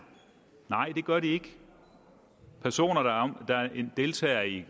nej det gør de ikke personer der deltager i